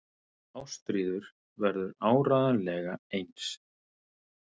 Ástríður verður áreiðanlega eins.